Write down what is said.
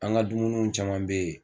An ka dumuni caman bɛ yen